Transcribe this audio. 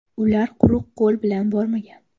Ular quruq qo‘l bilan bormagan.